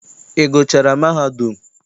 Ị gụchaara mahadum?